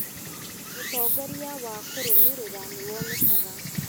ũtongoria wa kũrũmĩrĩra nĩwonekaga